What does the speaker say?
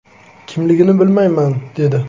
Kimligini bilmayman”, dedi.